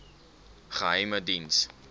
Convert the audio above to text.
geheimediens